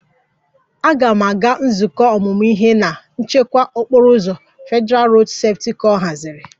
"Aga m aga nzukọ ọmụmụ ihe na ""nchekwa okporo ụzọ"" Federalụ Rodu Sefuti kor haziri"